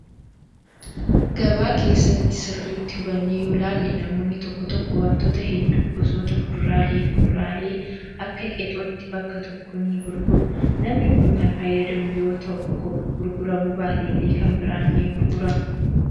Gabaa keessatti sirriitti hubannee yoo ilaalle namoonni tokko tokko wantoota hedduu gosoota fuduraalee fi kuduraalee akka qexootti bakka tokkoo ni gurguru. Namni kun kan fayyadamu yoo tokko gurguramuu baate illee kan biraan ni gurgurama.